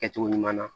Kɛcogo ɲuman na